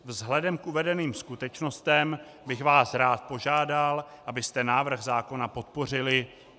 Vzhledem k uvedeným skutečnostem bych vás rád požádal, abyste návrh zákona podpořili.